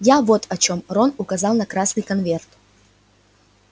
я вот о чём рон указал на красный конверт